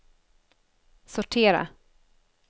sortera